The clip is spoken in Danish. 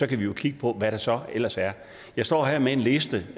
kan vi jo kigge på hvad der så ellers er jeg står her med en liste